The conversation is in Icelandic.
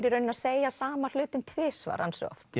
í raun að segja sama hlutinn tvisvar ansi oft